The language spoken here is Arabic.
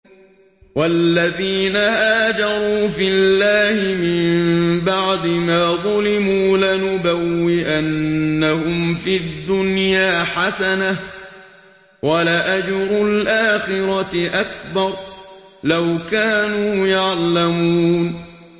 وَالَّذِينَ هَاجَرُوا فِي اللَّهِ مِن بَعْدِ مَا ظُلِمُوا لَنُبَوِّئَنَّهُمْ فِي الدُّنْيَا حَسَنَةً ۖ وَلَأَجْرُ الْآخِرَةِ أَكْبَرُ ۚ لَوْ كَانُوا يَعْلَمُونَ